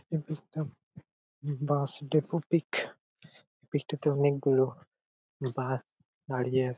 এই পিক টা bus depot pic. Pic টাতে অনেক গুলো বাস দাঁড়িয়ে আ--